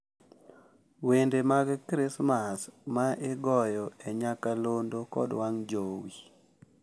Wende mag Krismas ma igoyo e nyakalondo kod wang` jowi.